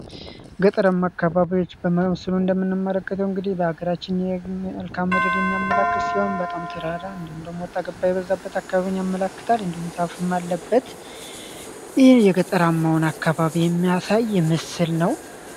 ገጠራማ አካባቢዎች በመምስሉ እንደምንመለከተው እንግዲህ በሀገራችን የእልካምድር የሚያመላክት ሲሆን በጣም ተራራ እንዲሆም እንደሞወጣ ገባ የበዛበት አካባቢኝ ያመላክታል እንድም ዛሀፍም ለበት ህ የገጠራማውን አካባቢ የሚያሳ ይ ምስል ነው።